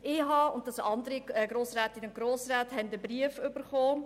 Ich und andere Grossrätinnen und Grossräte haben einen Brief erhalten.